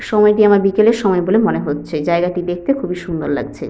সময়টি আমার বিকেলের সময় বলে মনে হচ্ছে জায়গাটি দেখতে খুবই সুন্দর লাগছে।